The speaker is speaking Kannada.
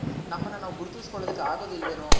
ನಮ್ಮನ್ ನಾವು ಗುರುತುಸ್ ಕೊಳೋದುಕ್ ಆಗೋದಿಲ್ವೇನೋ